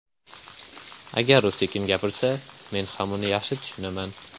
Agar u sekin gapirsa, men ham uni yaxshi tushunaman.